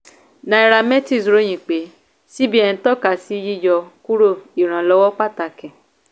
nairametrics ròyin pé cbn tọka sí yíyọ kúrò ìrànlọ́wọ́ pàtàkì.